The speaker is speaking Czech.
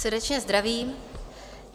Srdečně zdravím.